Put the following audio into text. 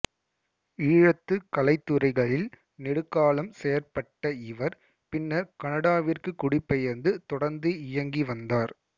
ஈழத்து கலைத்துறைகளில் நெடுங்காலம் செயற்பட்ட இவர் பின்னர் கனடாவிற்கு குடிபெயர்ந்து தொடர்ந்து இயங்கி வந்தார்